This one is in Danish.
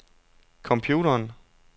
computeren